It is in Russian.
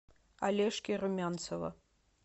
олежки румянцева